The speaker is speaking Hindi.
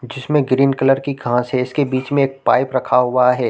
जिसमें ग्रीन कलर की घास है इसके बीच में एक पाइप रखा हुआ हैं ।